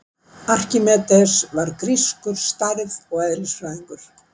Arkímedes var grískur stærð- og eðlisfræðingur.